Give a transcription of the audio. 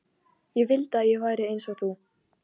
Ég vildi að ég væri eins og þú.